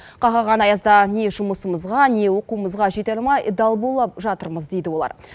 қақаған аязда не жұмысымызға не оқуымызға жете алмай дал болып жатырмыз дейді олар